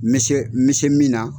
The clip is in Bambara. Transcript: Mi se mi se min na